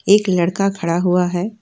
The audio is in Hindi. एक लड़का खड़ा हुआ है।